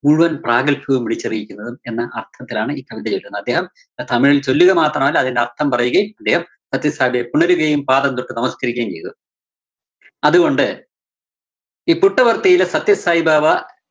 മുഴുവന്‍ പ്രാഘല്‍ഭ്യവും വിളിച്ചറിയിക്കുന്നതെന്നും എന്ന അര്‍ത്ഥത്തിലാണ് ഈ കവിത എഴുതുന്നത്. അദ്ദേഹം തമിഴില്‍ ചൊല്ലുക മാത്രമല്ല അതിന്റെ അര്‍ഥം പറയുകയും അദ്ദേഹം സത്യസായിബാബയെ പുണരുകയും പാദം തൊട്ട് നമസ്കരിക്കുകയും ചെയ്തു. അതുകൊണ്ട് ഈ പുട്ടപര്‍ത്തിയിലെ സത്യസായിബാബ